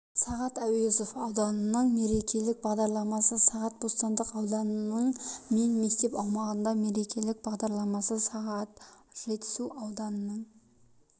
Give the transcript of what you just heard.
сағат әуезов ауданының мерекелік бағдарламасы сағат бостандық ауданының мен мектеп аумағында мерекелік бағдарламасы сағат жетісу ауданының